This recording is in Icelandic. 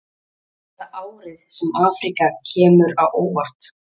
Verður þetta árið sem Afríka kemur á óvart?